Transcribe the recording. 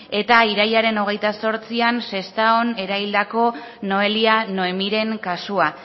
eta irailaren hogeita zortzian sestaon eraildako noelia noemiren kasua